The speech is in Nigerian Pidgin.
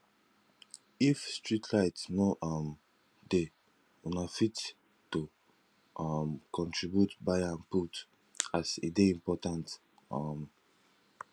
if streetlight no um dey una fit to um contribute buy am put as e dey important um